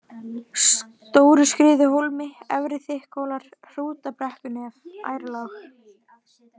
Stóruskriðuhólmi, Efri-Þykkhólar, Hrútabrekkunef, Ærlág